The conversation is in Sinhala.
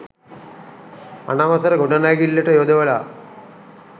අනවසර ගොඩනැගිල්ලට යොදවලා